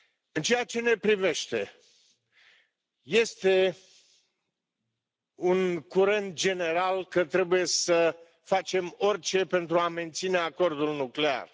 În ceea ce ne privește, este un curent general că trebuie să facem orice pentru a menține Acordul nuclear.